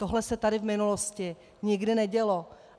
Tohle se tady v minulosti nikdy nedělo.